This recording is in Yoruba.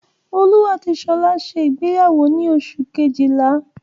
Olú àti Ṣọlá ṣe ìgbéyàwó ní oṣù kejìlá.